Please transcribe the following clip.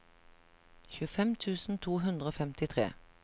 tjuefem tusen to hundre og femtitre